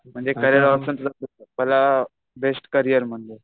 career मला best career